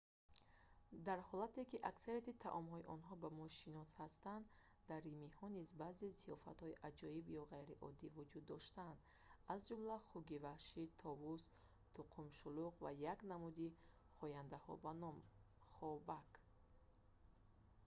дар ҳолате ки аксарияти таомҳои онҳо ба мо шинос ҳастанд дар римиҳо низ баъзе зиёфатҳои аҷоиб ё ғайриоддӣ вуҷуд доштанд аз ҷумла хуки ваҳшӣ товус тӯқумшуллук ва як намуди хояндаҳо бо номи хобак